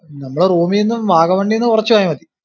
നമ്മുടെ room ഇന്നും വാഗോമോണിനു കുറച്ചു പോയ മതി.